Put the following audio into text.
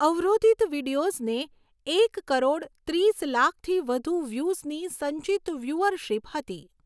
અવરોધિત વિડિઓઝને એક કરોડ ત્રીસ લાખથી વધુ વ્યૂઝની સંચિત વ્યૂઅરશિપ હતી.